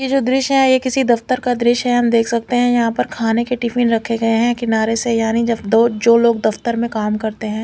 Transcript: ये जो द्रिश है ये किसी दफ्तर का द्रिश है हम देख सकते है यहा पर खाने के टिफिन रखे गये है किनारे से यानी जब दो जो लोग दफ्तर में काम करते है।